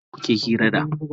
Wanene kuke hira da?